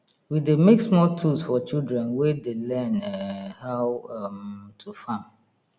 we dey make small tools for children wey dey learn um how um to farm